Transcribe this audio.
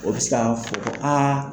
O be se ka fo aa